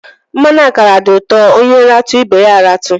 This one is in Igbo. Mmanụ akara di uto, onye ratu ibe ya a ratu.